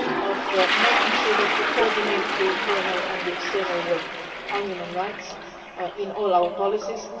One, is making sure that we coordinate the internal and external work on human rights in all our policies